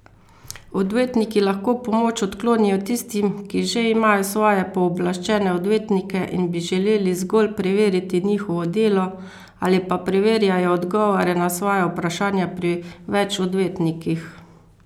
Odvetniki lahko pomoč odklonijo tistim, ki že imajo svoje pooblaščene odvetnike in bi želeli zgolj preveriti njihovo delo, ali pa preverjajo odgovore na svoja vprašanja pri več odvetnikih.